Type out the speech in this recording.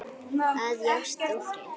að í ást og friði